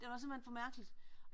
Det var simpelthen for mærkeligt